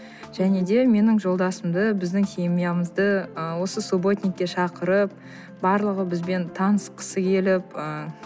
және де менің жолдасымды біздің семьямызды ы осы субботникке шақырып барлығы бізбен танысқысы келіп ыыы